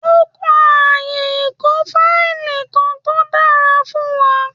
Ó kan ààyè ìkó fáìlì kan tó dára fún wa